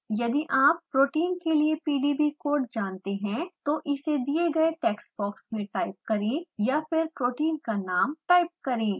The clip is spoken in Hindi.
यदि आप protein के लिए pdb कोड जानते हैं तो इसे दिए गए टेक्स्ट बॉक्स में टाइप करें या फिर protein का नाम टाइप करें